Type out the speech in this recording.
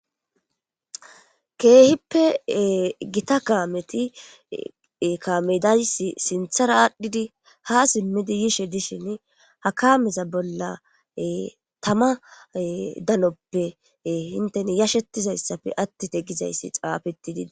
Keehippe gita kaameti kaame days sinthara aadhdhidi ha simmidi yishe dishin, ha kameza bolla tama danoppe intena yashetiza issappe attite giza issi xaafetidii.